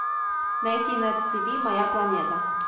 найти на тиви моя планета